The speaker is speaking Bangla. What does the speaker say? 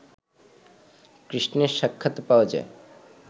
কৃষ্ণের সাক্ষাৎ পাওয়া যায়